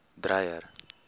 dreyer